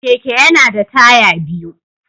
Keke yana da taya biyu.